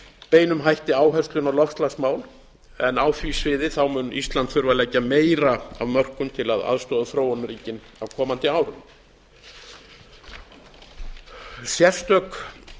beinum hætti áherslum á loftslagsmál en á því sviði mun ísland þurfa að leggja meira af mörkum til að aðstoða þróunarríkin á komandi árum sérstök